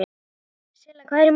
Silla, hvað er í matinn?